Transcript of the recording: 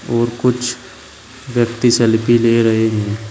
और कुछ व्यक्ति सेल्फी ले रहे हैं।